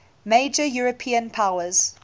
major european powers